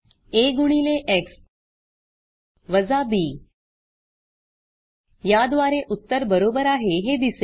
आ गुणिले एक्स वजा बी याद्वारे उत्तर बरोबर आहे हे दिसले